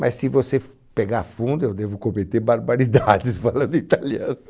Mas, se você f pegar fundo, eu devo cometer barbaridades falando italiano.